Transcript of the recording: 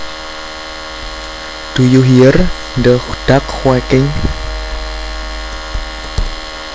Do you hear the ducks quacking